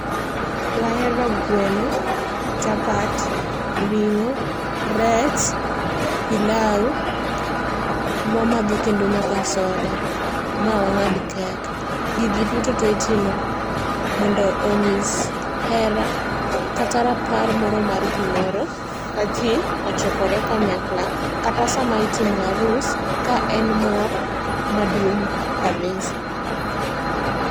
Wahero gweno, chapat, ringó, rech, pilau, wamadho kendo nyaka soda, ma wangád kek. Gigi duto tee itimo, mondo onyis hera, kata rapar moro mar gimoro, ka jii ochokore kanyakla, kata sama itimo arus, ka en mor maduong' kabisa.